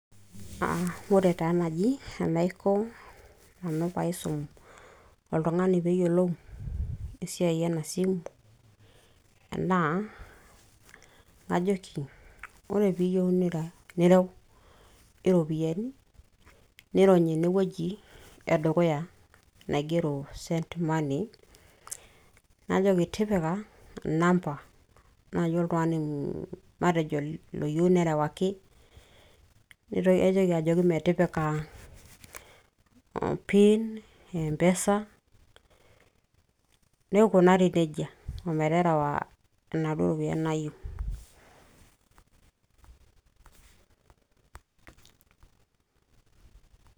ore taa naaji enaiko nanu pee aisum oltungani pee eyiolou, esiai ena simu. naa najoki. ore pee iyieu nireu iropiyiani, nirony ene wueji edukuya, naigero send money najoki tipika inamba oltungani matejo oyieu duo nerewaki, naitoki ajooki metipika .pin e mpesa, neikunari nejia, ometerewa inaduoo ropiyiani naayieu.